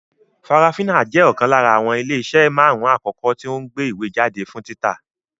Farafina jẹ́ ọ̀kan lára àwọn ilé iṣẹ́ marun-un akoko tí o ń gbé ìwé jáde fún títa